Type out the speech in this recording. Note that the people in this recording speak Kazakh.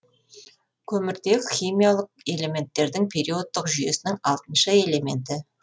көміртек химиялық элементтердің периодтық жүйесінің алтыншы элементі